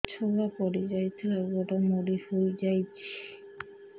ଛୁଆ ପଡିଯାଇଥିଲା ଗୋଡ ମୋଡ଼ି ହୋଇଯାଇଛି